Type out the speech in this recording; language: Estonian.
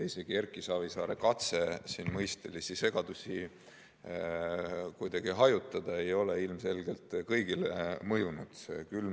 Isegi Erki Savisaare katse siin mõistelist segadust kuidagi vähendada ei ole ilmselgelt kõigile mõjunud.